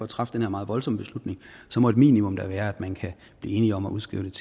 træffe den her meget voldsomme beslutning må et minimum da være at man kan blive enige om at udskrive